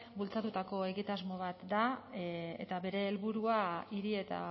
bultzatutako egitasmo bat da eta bere helburua hiri eta